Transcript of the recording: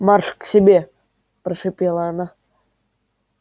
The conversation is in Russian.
марш к себе прошипела она